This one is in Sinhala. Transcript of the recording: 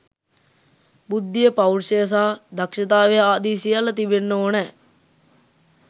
බුද්ධිය පෞරුෂය සහ දක්‍ෂතාවය ආදී සියල්ල තිබෙන්න ඕනෑ.